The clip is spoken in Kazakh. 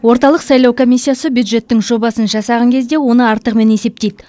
орталық сайлау комиссиясы бюджеттің жобасын жасаған кезде оны артығымен есептейді